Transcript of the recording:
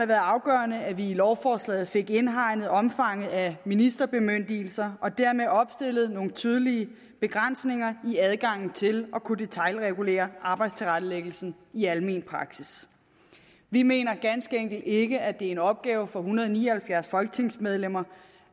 været afgørende at vi i lovforslaget fik indhegnet omfanget af ministerbemyndigelser og dermed opstillet nogle tydelige begrænsninger i adgangen til at kunne detailregulere arbejdstilrettelæggelsen i almen praksis vi mener ganske enkelt ikke at det er en opgave for en hundrede og ni og halvfjerds folketingsmedlemmer